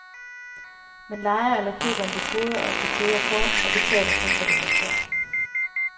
Man lejer eller køber en dekoder og et dekoderkort, og betaler kun for det, man ser.